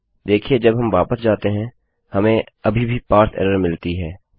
देखिये जब हम वापस जाते हैं हमें अभी भी पारसे एरर मिलती है